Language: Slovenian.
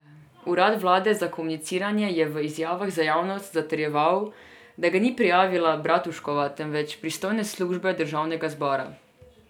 Urad vlade za komuniciranje je v izjavah za javnost zatrjeval, da ga ni prijavila Bratuškova, temveč pristojne službe državnega zbora.